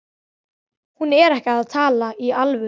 Hún er ekki að tala í alvöru.